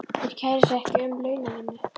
Þeir kæra sig ekki um launavinnu.